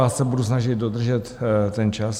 Já se budu snažit dodržet ten čas.